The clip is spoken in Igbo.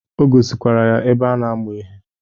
O gosikwara ya ebe a na-amụ ihe.